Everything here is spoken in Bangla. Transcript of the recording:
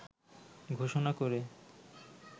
ঘোষণা করে